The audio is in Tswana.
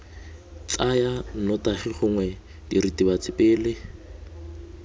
tsaya nnotagi gongwe diritibatsi pele